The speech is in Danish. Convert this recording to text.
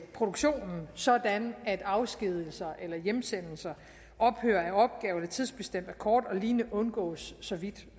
produktionen sådan at afskedigelser hjemsendelser ophør af opgaver tidsbestemt akkord og lignende undgås så vidt